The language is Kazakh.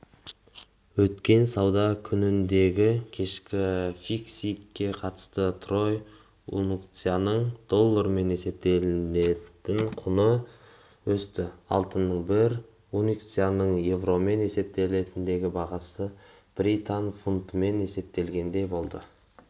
өткен сауда күніндегікешкі фиксингке қатысты трой унциясының доллармен есептегендегі құны өсті алтынның бір унциясының еуромен есептегендегі бағасы британ фунтымен есептегенде болды